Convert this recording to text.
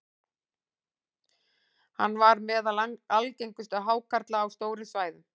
hann var meðal algengustu hákarla á stórum svæðum